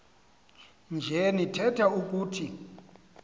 nje nitheth ukuthi